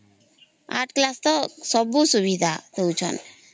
ଆଠ class ତକ ସବୁ ସୁବିଧା ଦଉ ଛାନ୍ତି